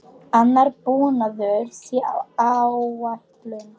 Annar búnaður sé á áætlun.